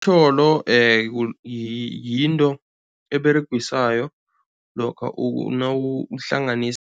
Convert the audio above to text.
Tjholo yinto eberegiswayo lokha nawuhlanganisa